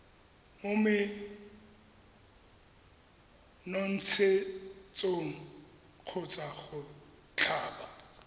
mo menontshetsong kgotsa go tlhaba